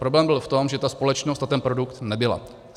Problém byl v tom, že ta společnost a ten produkt nebyla.